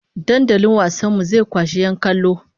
Dandalin wasan mu zai kwashi 'yan kallo!